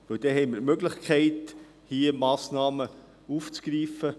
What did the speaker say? Denn dann haben wir die Möglichkeit, hier Massnahmen zu ergreifen.